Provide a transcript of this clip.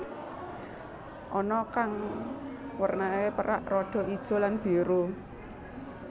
Ana kang wernané perak rada ijo lan biru